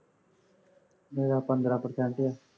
ਮੇਰਾ ਪੰਦਰਾ percent ਹੈ